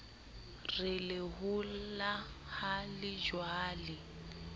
re lehola ha le jalwe